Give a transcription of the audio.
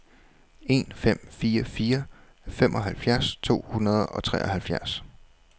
en fem fire fire femoghalvfjerds to hundrede og treoghalvfjerds